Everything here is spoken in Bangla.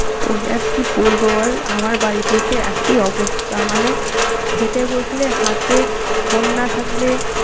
তোকে আর কি বলবো বল আমার বাড়িতেও সে একই অবস্থা। মানে খেতে বসলে হাতে phone না থাকলে